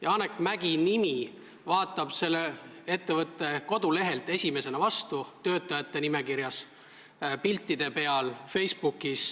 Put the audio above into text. Janek Mäggi nimi vaatab esimesena vastu selle ettevõtte kodulehelt töötajate nimekirjast, ta on piltide peal ja Facebookis.